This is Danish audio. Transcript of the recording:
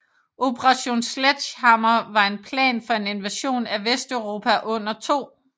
Operation Sledgehammer var en plan for en invasion af Vesteuropa under 2